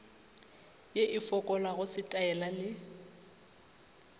ye e fokolago setaela le